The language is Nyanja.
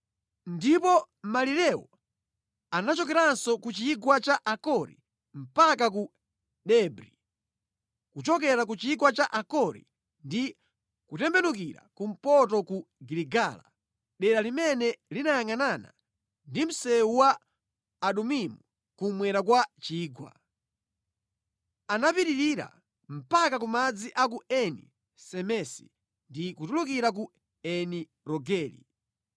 Ndipo malirewo anachokeranso ku chigwa cha Akori mpaka ku Debri, kuchokera ku chigwa cha Akori ndi kutembenukira kumpoto ku Giligala, dera limene linayangʼanana ndi msewu wa Adumimu kummwera kwa chigwa. Anapitirira mpaka ku madzi a ku Eni Semesi ndi kutulukira ku Eni Rogeli.